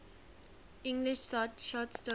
english short story